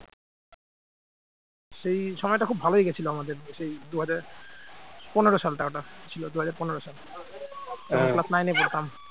সেই সময়টা খুব ভালোই গেছিল আমাদের সেই দুই হাজার পনেরো সালটা ছিল দুই হাজার পনেরো সালে class nine এ পড়তাম।